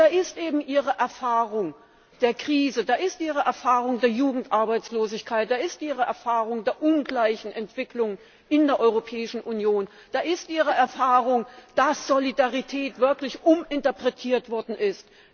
Da ist eben ihre Erfahrung der Krise, da ist ihre Erfahrung der Jugendarbeitslosigkeit, da ist ihre Erfahrung der ungleichen Entwicklung in der Europäischen Union, da ist ihre Erfahrung, dass Solidarität wirklich uminterpretiert worden ist.